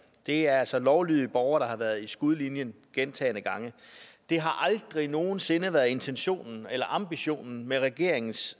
det er altså lovlydige borgere der har været i skudlinjen gentagne gange det har aldrig nogen sinde været intentionen eller ambitionen med regeringens